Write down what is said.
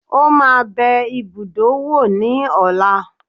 Ó máa bẹ ibùdó wò ní ọ̀la